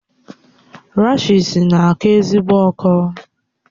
Rashịịsi na-akọ ezigbo ọkọ